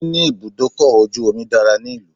Níní ibùdókọ̀ ojù omi dára ní ìlú.